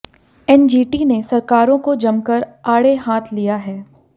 NGT ने सरकारों को जमकर आड़े हाथ लिया है